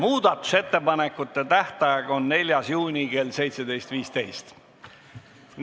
Muudatusettepanekute tähtaeg on 4. juuni kell 17.15.